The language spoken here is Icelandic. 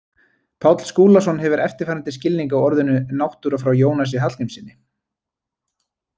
Páll Skúlason hefur eftirfarandi skilning á orðinu náttúra frá Jónasi Hallgrímssyni: